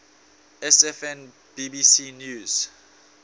sfn bbc news